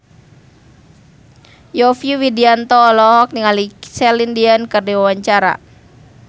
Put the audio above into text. Yovie Widianto olohok ningali Celine Dion keur diwawancara